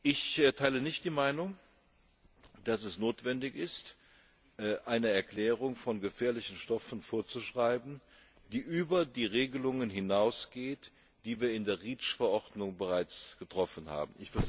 Ich teile nicht die Meinung, dass es notwendig ist, eine Erklärung von gefährlichen Stoffen vorzuschreiben, die über die Regelungen hinausgeht, die wir in der REACH Verordnung bereits getroffen haben.